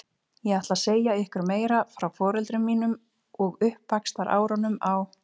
Ég ætla að segja ykkur meira frá foreldrum mínum og uppvaxtarárunum á